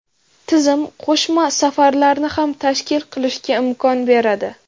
Tizim qo‘shma safarlarni ham tashkil qilishga imkon beradi.